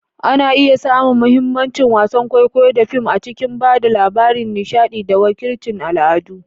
Ana iya samun mahimmancin wasan kwaikwayo da fim a cikin ba da labari, nishaɗi, da wakilcin al'adu.